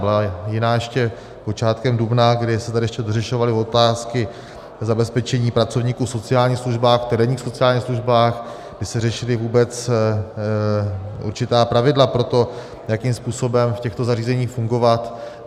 Byla jiná ještě počátkem dubna, kdy se tady ještě dořešovaly otázky zabezpečení pracovníků v sociálních službách, v terénních sociálních službách, kdy se řešila vůbec určitá pravidla pro to, jakým způsobem v těchto zařízeních fungovat.